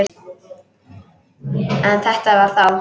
En þetta var þá.